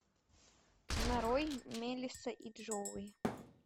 нарой мелисса и джоуи